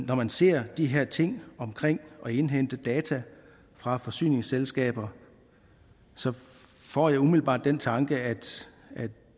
når man ser de her ting omkring at indhente data fra forsyningsselskaber får jeg umiddelbart den tanke at